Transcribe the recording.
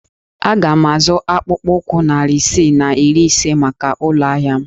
Aga m azụ akpụkpọ ụkwụ narị isii na iri ise maka ụlọ ahịa m